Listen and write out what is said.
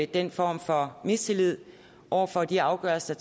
den form for mistillid over for de afgørelser